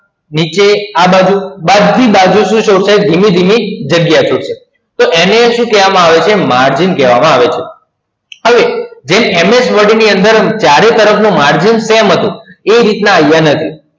નીચે આ બાજુ બધી બાજુ ધીમે ધીમે જાગીયા છૂટસે એને સુ કેવા માં આવે છેએને એને શું કહેવામાં આવે છે ને margin કહેવામાં આવે છે હવે જેમ MS Word ની અંદર ચારે તરફની margin છે એ રીતના અહીંયા નથી